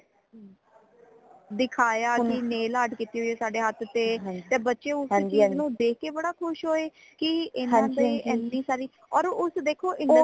ਦਿਖਾਇਆ ਕੇ nail art ਕੀਤੀ ਹੁਈ ਹੈ ਸਾੜੇ ਹੱਥ ਤੇ ਤੇ ਬੱਚੇ ਉਸ ਚੀਜ਼ ਨੂ ਦੇਖ ਕੇ ਬੜਾ ਖੁਸ਼ ਹੋਏ ਇਨਾ ਦੇ ਇਨੀ ਸਾਰੀ ਹੋਰ ਉਸ ਦੇਖੋ industry